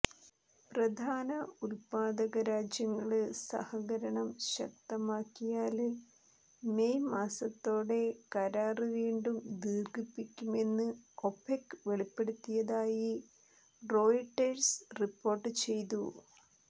പ്രധാന ഉല്പാദക രാജ്യങ്ങള് സഹകരണം ശക്തമാക്കിയാല് മെയ് മാസത്തോടെ കരാര് വീണ്ടും ദീര്ഘിപ്പിക്കുമെന്ന് ഒപെക് വെളിപ്പെടുത്തിയതായി റോയിട്ടേഴ്സ് റിപ്പോര്ട്ട് ചെയ്തു